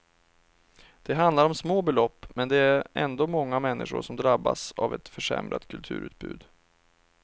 Det handlar om små belopp, men det är ändå många människor som drabbas av ett försämrat kulturutbud.